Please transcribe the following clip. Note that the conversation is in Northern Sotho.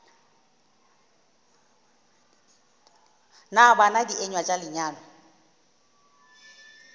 na bana dienywa tša lenyalo